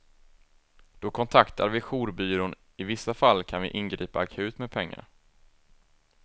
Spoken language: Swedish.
Då kontaktar vi jourbyrån, i vissa fall kan vi ingripa akut med pengar.